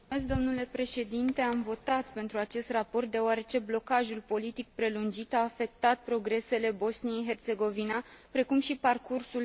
Am votat pentru acest raport deoarece blocajul politic prelungit a afectat progresele Bosniei Herțegovina, precum și parcursul său european.